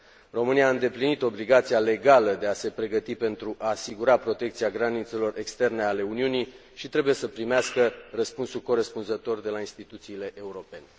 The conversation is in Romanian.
România a îndeplinit obligația legală de a se pregăti pentru a asigura protecția granițelor externe ale Uniunii și trebuie să primească răspunsul corespunzător de la instituțiile europene.